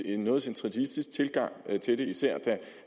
en noget centralistisk tilgang til det især